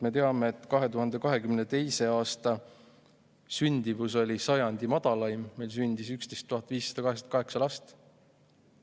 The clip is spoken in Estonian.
Me teame, et 2022. aasta sündimus oli sajandi madalaim, meil sündis 11 588 last.